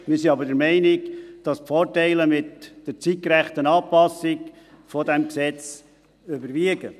wir sind aber der Meinung, dass die Vorteile mit der zeitgerechten Anpassung des Gesetzes überwiegen.